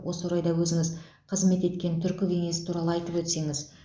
осы орайда өзіңіз қызмет еткен түркі кеңесі туралы айтып өтсеңіз